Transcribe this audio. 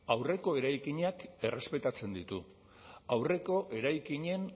aurreko eraikinak errespetatzen ditu aurreko eraikinen